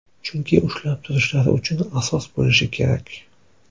Chunki ushlab turishlari uchun asos bo‘lishi kerak.